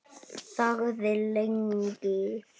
Þagði lengi.